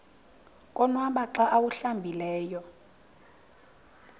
konwaba xa awuhlambileyo